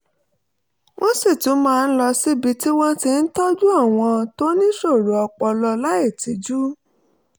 wọ́n sì tún máa ń lọ síbi tí wọ́n ti ń tọ́jú àwọn tó níṣòro ọpọlọ láìtijú